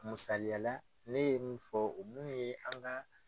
Musaliya la ne ye mun fɔ mun fɔ ye an ka.